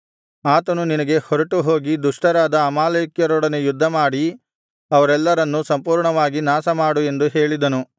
ಆತನು ನಿನಗೆ ಹೊರಟು ಹೋಗಿ ದುಷ್ಟರಾದ ಅಮಾಲೇಕ್ಯರೊಡನೆ ಯುದ್ಧಮಾಡಿ ಅವರೆಲ್ಲರನ್ನೂ ಸಂಪೂರ್ಣವಾಗಿ ನಾಶಮಾಡು ಎಂದು ಹೇಳಿದನು